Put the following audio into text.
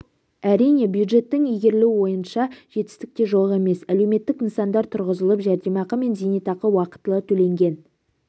әрине бюджеттің игерілуі бойынша жетістік те жоқ емес әлеуметтік нысандар тұрғызылып жәрдемақы мен зейнетақы уақытылы төленген